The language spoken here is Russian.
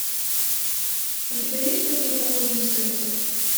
у тебя есть противоположность секса